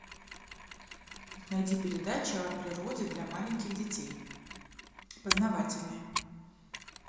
найди передачу о природе для маленьких детей познавательное